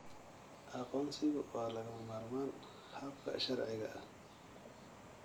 Aqoonsigu waa lagama maarmaan habka sharciga ah.